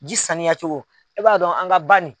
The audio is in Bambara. Ji saniya cogo e b'a dɔn an ka ba nin